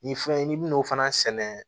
Ni fɛn n'i bɛn'o fana sɛnɛ